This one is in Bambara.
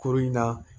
Kuru in na